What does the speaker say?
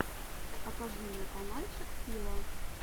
покажи мне канальчик фила